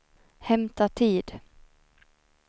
hämta tid